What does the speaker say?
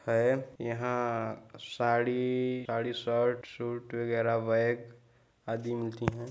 है यहाँ आ साडी इ-इ साड़ी शर्ट सूट वगैरा बैग आदि मिलती हैं।